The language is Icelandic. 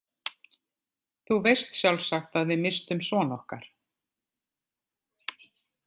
Þú veist sjálfsagt að við misstum son okkar.